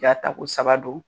Jaa ta ko saba do.